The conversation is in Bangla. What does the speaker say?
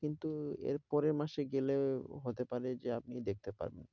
কিন্তু এর পরের মাসে গেলে হতে পারে যে আপনি দেখতে পারবেন।